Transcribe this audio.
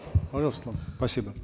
пожалуйста спасибо